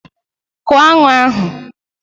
Kụo aṅụ ahụ!